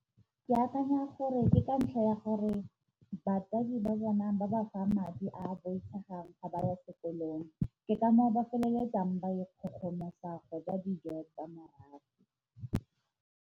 Ke akanya gore ke ka ntlha ya gore batsadi ba bona ba ba fa madi a boitshegang ga ba ya sekolong, ke ka moo ba feleletsang ba ikgogomosa go ja dijo tsa mahala.